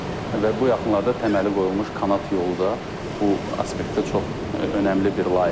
Və bu yaxınlarda təməli qoyulmuş kanat yolu da bu aspektdə çox önəmli bir layihədir.